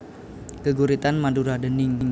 Geguritan Madura déning